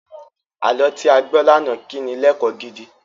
Àlọ́ tí a gbọ́ lánàá kí ni lẹ́kọ̀ọ́ gidi.